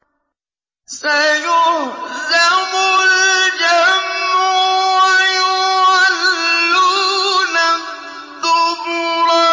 سَيُهْزَمُ الْجَمْعُ وَيُوَلُّونَ الدُّبُرَ